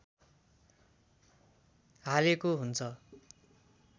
हालेको हुन्छ